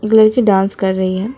एक लड़की डांस कर रही है।